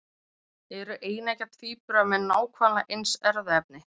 Eru eineggja tvíburar með nákvæmlega eins erfðaefni?